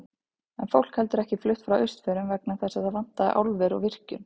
En fólk hefur ekki flutt frá Austfjörðum vegna þess að þar vantaði álver og virkjun.